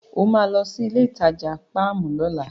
O máa lọ sí ilé-ìtajà páàmù lọ́la.